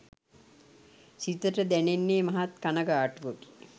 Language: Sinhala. සිතට දැනෙන්නේ මහත් කණගාටුවකි.